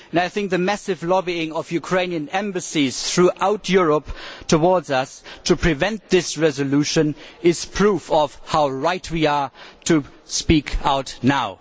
I think the massive lobbying of the Ukrainian Embassies throughout Europe towards us to prevent this resolution is proof of how right we are to speak out now.